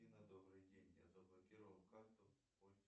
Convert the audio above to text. афина добрый день я заблокировал карту